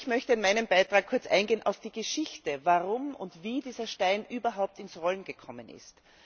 Ich möchte in meinem Beitrag kurz eingehen auf die Geschichte, warum und wie dieser Stein überhaupt ins Rollen gekommen ist.